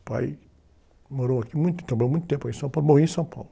O pai morou aqui muito tempo, mas muito tempo em São Paulo, morreu em São Paulo.